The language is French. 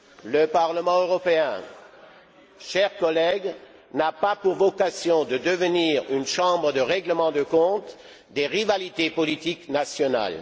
Le Parlement européen, chers collègues, n'a pas pour vocation de devenir une chambre de règlements de comptes des rivalités politiques nationales.